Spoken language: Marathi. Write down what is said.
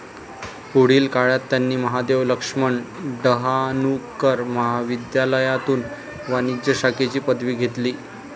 पुढील काळात त्यांनी महादेव लक्ष्मन डहाणूकर महाविध्यालायातून वाणिज्य शाखेची पदवी घेतली.